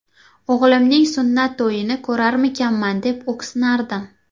O‘g‘limning sunnat to‘yini ko‘rarmikanman, deb o‘ksinardim.